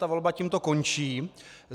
Ta volba tímto končí.